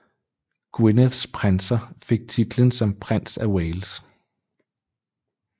Gwynedds prinser fik titlen som prins af Wales